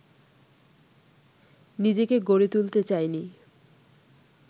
নিজেকে গড়ে তুলতে চাইনি